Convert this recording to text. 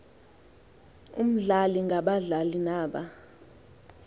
omdlalo ngabadlali naba